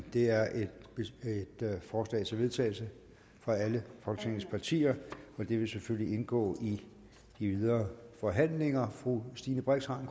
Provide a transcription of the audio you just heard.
det er et forslag til vedtagelse fra alle folketingets partier og det vil selvfølgelig indgå i de videre forhandlinger fru stine brix har